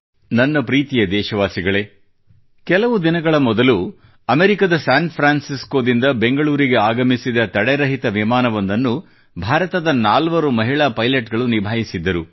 ನನ್ನ ಪ್ರೀತಿಯ ದೇಶವಾಸಿಗಳೇ ಕೆಲವು ದಿನಗಳ ಮೊದಲು ಅಮೆರಿಕದ ಸ್ಯಾನ್ ಫ್ರಾನ್ಸಿಸ್ಕೋದಿಂದ ಬೆಂಗಳೂರಿಗೆ ಆಗಮಿಸಿದ ತಡೆರಹಿತ ವಿಮಾನವೊಂದನ್ನು ಭಾರತದ ನಾಲ್ವರು ಮಹಿಳಾ ಪೈಲೆಟ್ ಗಳು ನಿಭಾಯಿಸಿದ್ದರು